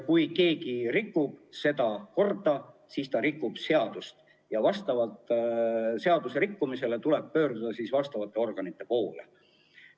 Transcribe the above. Kui keegi rikub seda korda, siis ta rikub seadust ja seaduse rikkumise korral tuleb pöörduda vastavate organite poole.